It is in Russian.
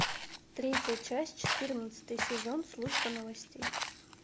третья часть четырнадцатый сезон служба новостей